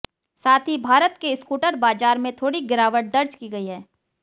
साथ ही भारत के स्कूटर बाजार में थोड़ी गिरावट दर्ज की गयी है